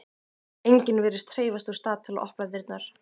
Enginn virðist hreyfast úr stað til að opna dyrnar.